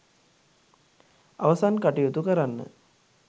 අවසන් කටයුතු කරන්න